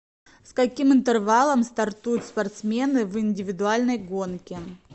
с каким интервалом стартуют спортсмены в индивидуальной гонке